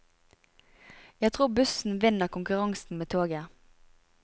Jeg tror bussen vinner konkurransen med toget.